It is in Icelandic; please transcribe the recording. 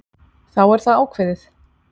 Þá er það ákveðið.